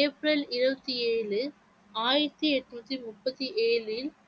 April இருபத்தி ஏழு ஆயிரத்தி எட்நூத்தி முப்பத்தி ஏழில்